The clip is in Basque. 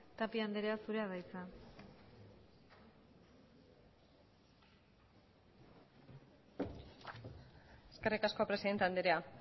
tapia anderea zurea da hitza eskerrik asko presidente andrea